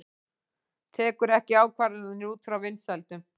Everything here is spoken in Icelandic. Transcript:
Tekur ekki ákvarðanir út frá vinsældum